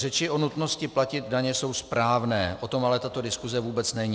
Řeči o nutnosti platit daně jsou správné, o tom ale tato diskuse vůbec není.